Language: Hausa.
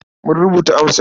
Mun rubuta amsar.